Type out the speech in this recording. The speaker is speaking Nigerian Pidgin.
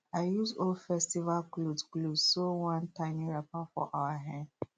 i use old festival cloth cloth sew one tiny wrapper for our hen